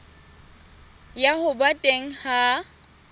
ya ho ba teng ha